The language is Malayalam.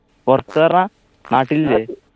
പൊറത്ത് പർണ്ണാ നാട്ടിലില്ലെ